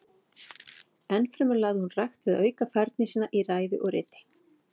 Enn fremur lagði hún rækt við að auka færni sína í ræðu og riti.